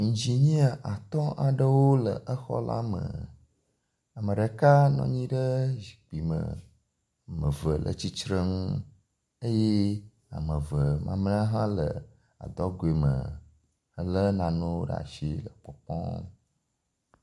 Ingenia atɔ aɖewo le exɔ la me. Ame ɖeka nɔ anyi ɖe zikpui me, ame eve le tsitre nu eye ame eve mamlea hã le adɔgɔe mehele nanewo ɖe asi le kpɔkpɔm.